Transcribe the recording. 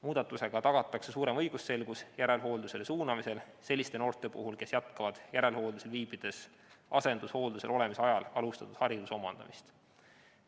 Muudatusega tagatakse suurem õigusselgus järelhooldusele suunamisel selliste noorte puhul, kes jätkavad järelhooldusel viibides asendushooldusel olemise ajal alustatud hariduse omandamist.